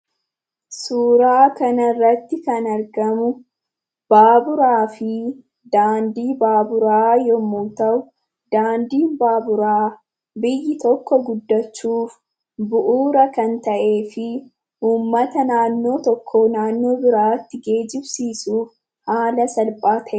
Suuraa kana irratti kan argamu, baaburaa fi daandii baaburaa yemmuu ta'u, daandiin baaburaa biyyi tokko guddachuuf bu'uura kan ta'ee fi uummata naannoo tokkoo, naannoo biraatti geejjibsiisuuf haala salphaa ta'een kan gargaarudha.